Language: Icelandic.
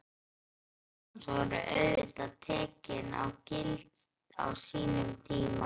Orð Kjartans voru auðvitað tekin gild á sínum tíma.